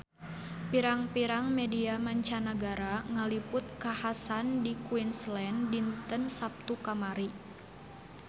Pirang-pirang media mancanagara ngaliput kakhasan di Queensland dinten Saptu kamari